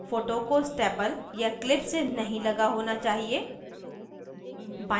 photos को staple या clipped से नहीं लगा होना चाहिए